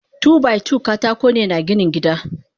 Two by two katakone na ginin gida.